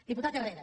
diputat herrera